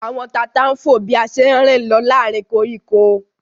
Àwọn tata ń fò bí a ṣe ń rìn lọ láàárín koríko